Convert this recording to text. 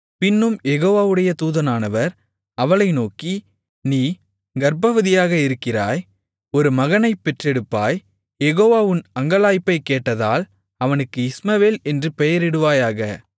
பின்னும் யெகோவாவுடைய தூதனானவர் அவளை நோக்கி நீ கர்ப்பவதியாக இருக்கிறாய் ஒரு மகனைப் பெற்றெடுப்பாய் யெகோவா உன் அங்கலாய்ப்பைக் கேட்டதால் அவனுக்கு இஸ்மவேல் என்று பெயரிடுவாயாக